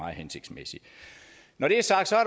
hensigtsmæssigt når det